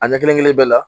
A ɲɛ kelen kelen bɛɛ la